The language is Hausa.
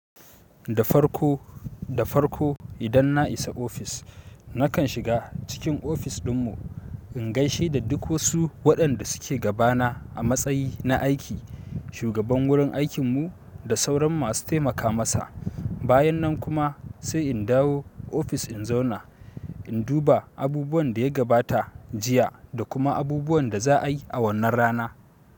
Da farko, da farko idan na isa ofis nakan shiga cikin ofis ɗin mu in gaishe da duk wasu waɗanda suke gabana amatsayi na aiki. Shugaban wurin aikinmu da sauran masu taimaka masa. Bayan nan kuma sai in dawo ofis in zauna, in duba abubuwan da ya gabata jiya da kuma abubuwan da za a yi a wannan rana.